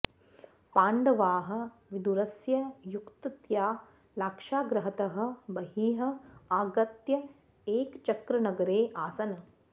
पाण्डवाः विदुरस्य युक्त्या लाक्षागृहतः बहिः आगत्य एकचक्रनगरे आसन्